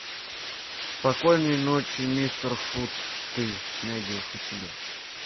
спокойной ночи мистер фут ты найдешь у себя